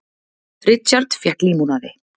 Richard fékk límonaði.